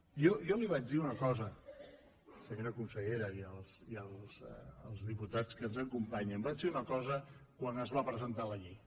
jo li vaig dir una cosa senyora consellera i els diputats que ens acompanyen vaig dir una cosa quan es va presentar la llei